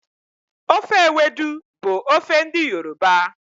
Ofe ewedu bụ ofe ndị Yoruba.